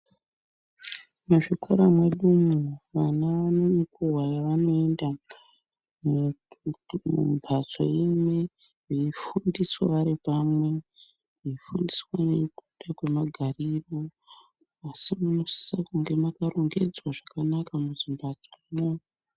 Muzvikora mwedu umu vana vanenguva yavanoenda mumbatso imwe veifundiswa varipamwe veifundiswa nekuita kwemagariro asi munosisa kunge makarongedzwa zvakanaka muzimbatsomwo.